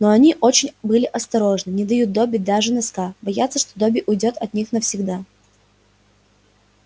но они очень были осторожны не дают добби даже носка боятся что добби уйдёт от них навсегда